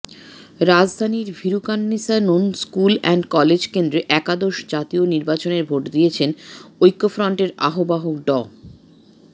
রাজধানীর Viqarunnisa Noon school and college কেন্দ্রে একাদশ জাতীয় নির্বাচনের ভোট দিয়েছেন ঐক্যফ্রন্টের আহ্বায়ক ড